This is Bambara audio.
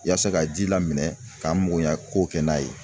Ya se ka ji la minɛ ka n mago ɲɛ kow kɛ n'a ye.